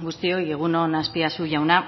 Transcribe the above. guztioi egun on azpiazu jauna